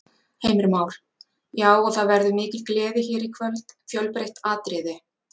Heimir Már: Já, og það verður mikil gleði hér í kvöld, fjölbreytt atriði?